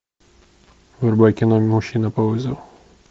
врубай кино мужчина по вызову